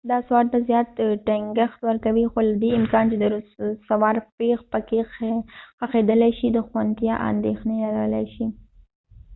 دا سوار ته زیات ټینګښت ورکوي خو له دې امکان چې د سوار پښې پکې ښخېدلای شي د خوندیتیا اندېښنې لرلای شي